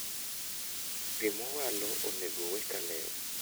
Pii mowalo onego wee kaler